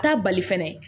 Taa bali fɛnɛ